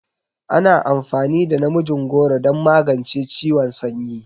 Ana amfani da namijin goro don magance ciwon sanyi.